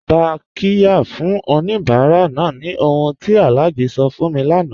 Tá qirya fún oníbàrà náà ni ọ̀hun tí Alhaji sọ fún mí láńà